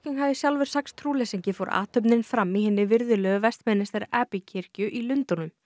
hafi sjálfur sagst trúleysingi fór athöfnin fram í hinni virðulegu Westminister Abbey kirkju í Lundúnum